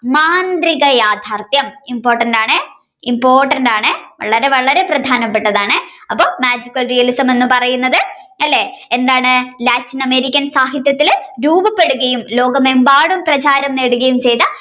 മാന്ത്രിക യാഥാർഥ്യം important ആണ് important ആണ് വളരെ വളരെ പ്രധാനപെട്ടതാണ് അപ്പൊ Magical realism എന്ന് പറയുന്നത് അല്ലെ എന്താണ് Latin American സാഹിത്യത്തിൽ രൂപപ്പെടുകയും ലോകമെമ്പാടും പ്രധാനം നേടുകയും ചെയ്ത